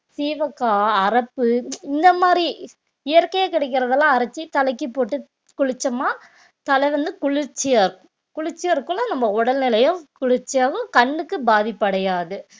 சீவக்காய் அரப்பு இந்த மாதிரி இயற்கையா கிடைக்கிறதெல்லாம் அரைச்சு தலைக்கு போட்டு குளிச்சமா தலை வந்து குளிர்ச்சியா இருக்கும் குளிர்ச்சியா இருக்கும்ன்னா நம்ம உடல் நிலையும் குளிர்ச்சியாவும் கண்ணுக்கு பாதிப்படையாது